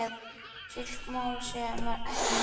Slík mál séu ekki mörg.